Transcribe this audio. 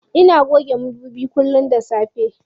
Ina goge madubin kullum da safe.